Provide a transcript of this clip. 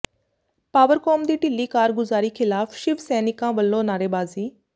Powercom ਦੀ ਢਿੱਲੀ ਕਾਰਗੁਜ਼ਾਰੀ ਖ਼ਿਲਾਫ਼ ਸ਼ਿਵ ਸੈਨਿਕਾਂ ਵੱਲੋਂ ਨਾਅਰੇਬਾਜ਼ੀ